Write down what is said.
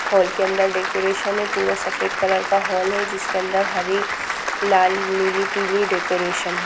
Hall के अंदर decoration है पूरा सफेद कलर का हॉल है जिसके अंदर हरी लाल नीली पिली डेकोरेशन है।